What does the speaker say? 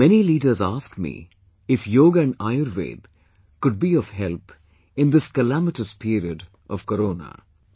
Many leaders asked me if Yog and Ayurved could be of help in this calamitous period of Corona